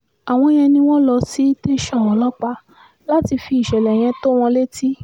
àwọn yẹn ni wọ́n lọ sí tẹ̀sán ọlọ́pàá láti fi ìṣẹ̀lẹ̀ yẹn tó wọn létí